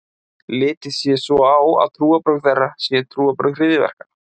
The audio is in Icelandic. Litið sé svo á að trúarbrögð þeirra séu trúarbrögð hryðjuverka.